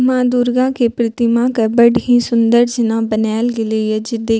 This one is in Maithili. माँ दुर्गा के प्रतिमा के बड़ ही सुन्दर जेना बनाएल गेले ये जे देख --